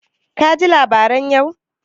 Ka ji labaran yau?